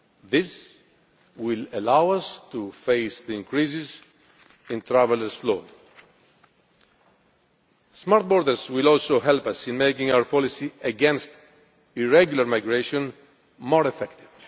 This will allow us to face the increases in traveller flows. Smart borders will also help us in making our policy against irregular migration more effective.